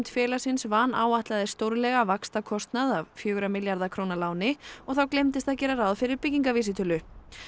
félagsins vanáætlaði stórlega vaxtakostnað af fjögurra milljarða króna láni þá gleymdist að gera ráð fyrir byggingavísitölu